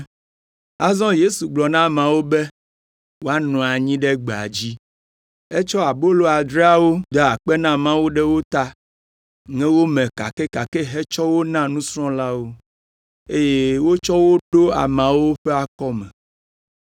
Azɔ Yesu gblɔ na ameawo be woanɔ anyi ɖe gbea dzi. Etsɔ abolo adreawo, da akpe na Mawu ɖe wo ta, ŋe wo me kakɛkakɛ hetsɔ wo na nusrɔ̃lawo, eye wotsɔ wo ɖo ameawo ƒe akɔme.